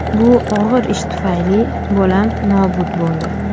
Bu og‘ir ish tufayli bolam nobud bo‘ldi.